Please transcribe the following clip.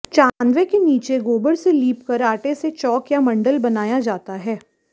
चांदवे के नीचे गोबर से लीप कर आटे से चौक या मंडल बनाया जाता है